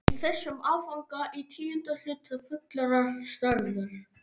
Í þessum áfanga í tíunda hluta fullrar stærðar.